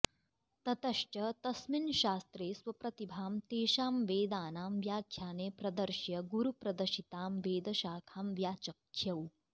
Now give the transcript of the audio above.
ततश्च तस्मिन् शास्त्रे स्वप्रतिभां तेषां वेदानां व्याख्याने प्रदर्श्य गुरुप्रदशितां वेदशाखां व्याचख्यौ